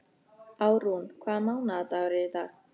Árún, hvaða mánaðardagur er í dag?